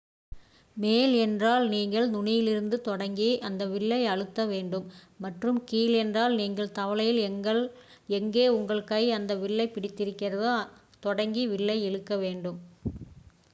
மேல் என்றால் நீங்கள் நுனியிலிருந்து தொடங்கி அந்த வில்லை அழுத்த வேண்டும் மற்றும் கீழ் என்றால் நீங்கள் தவளையில் எங்கே உங்கள் கை அந்த வில்லைப் பிடித்திருக்கிறதோ தொடங்கி வில்லை இழுக்க வேண்டும்